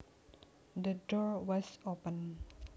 The door was open